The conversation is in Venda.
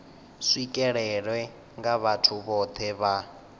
swikelelwe nga vhathu vhohe vha